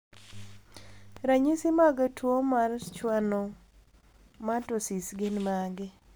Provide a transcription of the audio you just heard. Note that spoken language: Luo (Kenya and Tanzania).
Ranyisi mag tuo mar Schwannomatosis gin mage?